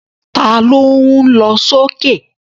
Ta ló ń lọ sókè?